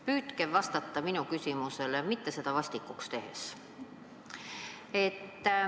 Püüdke vastata minu küsimusele seda mitte vastikuks tehes.